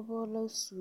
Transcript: Dɔbɔ la su